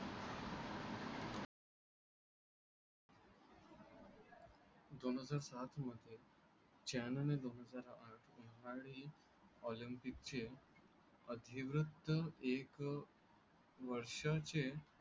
दोन हजार सातमध्ये चायनाने दोन हजार आठमध्ये होणारे ऑलिम्पिकचे अधिवृत्त एक वर्षाचे